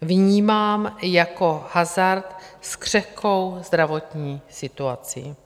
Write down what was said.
vnímám jako hazard s křehkou zdravotní situací.